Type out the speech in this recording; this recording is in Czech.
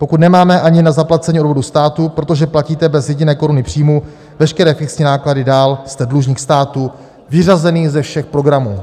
Pokud nemáte ani na zaplacení odvodu státu, protože platíte bez jediné koruny příjmu veškeré fixní náklady dál, jste dlužník státu vyřazený ze všech programů.